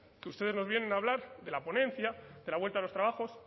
que ustedes nos vienen a hablar de la ponencia de la vuelta a los trabajos